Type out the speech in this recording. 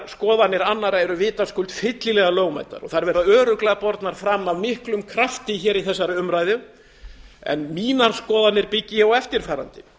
skoðanir annarra eru vitaskuld fyllilega lögmætar og þær verða örugglega fram bornar af miklum krafti hér við umræðuna mínar skoðanir byggi ég á því að